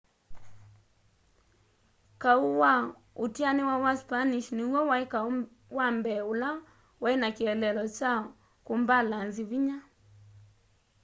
kau wa utianiwa wa spanish niw'o wai kau wa mbee ula wai na kieleelo kya kumbalanzi vinya